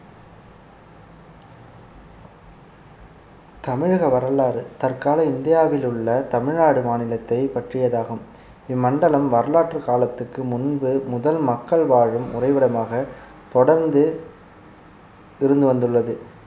தமிழக வரலாறு தற்கால இந்தியாவில் உள்ள தமிழ்நாடு மாநிலத்தை பற்றியதாகும் இம்மண்டலம் வரலாற்று காலத்துக்கு முன்பு முதல் மக்கள் வாழும் உறைவிடமாக தொடர்ந்து இருந்து வந்துள்ளது